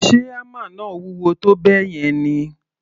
Ṣe hámà náà wúwo tó bẹ́ẹ̀ yẹn ni?